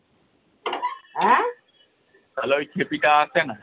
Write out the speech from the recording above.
তালে ওই খেপি টা আসে না।